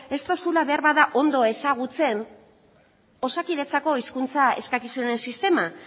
ez dozula beharbada ondo ezagutzen osakidetzako hizkuntza eskakizunen sistema